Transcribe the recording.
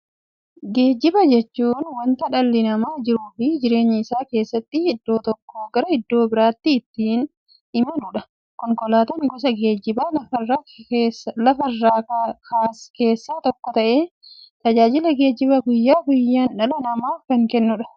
Geejjiba jechuun wanta dhalli namaa jiruuf jireenya isaa keessatti iddoo tokkoo gara iddoo birootti ittiin imaluudha. Konkolaatan gosa geejjibaa lafarraa keessaa tokko ta'ee, tajaajila geejjibaa guyyaa guyyaan dhala namaaf kenna.